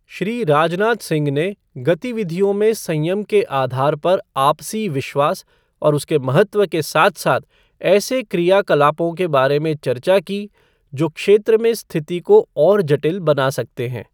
श्री राजनाथ सिंह ने गतिविधियों में संयम के आधार पर आपसी विश्वास और उसके महत्व के साथ साथ ऐसे क्रियाकलापों के बारे में चर्चा की, जो क्षेत्र में स्थिति को और जटिल बना सकते हैं।